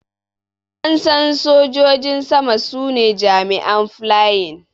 An San Sojojin sama su ne jami'in flying.